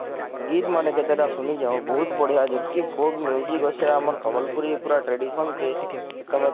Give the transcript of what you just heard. ଗୀତ ମାନେ କେତେଟା ସୁନିଛେ ହୋ ବହୁତ ବଢିଆ ଗୀତ folk ଅଛେ ଆମର ସମ୍ବଲପୁରୀ ପୁରା traditional କେ